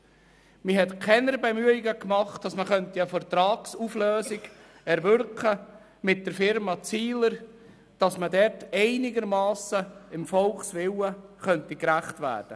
Man hat keine Bemühungen gemacht, um eine Vertragsauflösung mit der Firma Zihler zu erwirken und dem Volkswillen einigermassen gerecht zu werden.